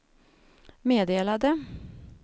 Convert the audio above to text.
meddelade